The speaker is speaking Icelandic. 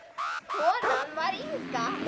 Konan var Inga.